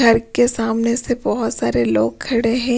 घर के सामने से बहुत सारे लोग खड़े हैं।